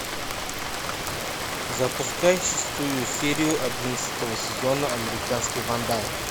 запускай шестую серию одиннадцатого сезона американский вандал